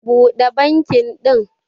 Buda banki din